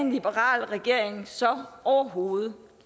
en liberal regering så overhovedet